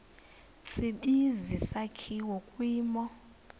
tsibizi sakhiwa kwimo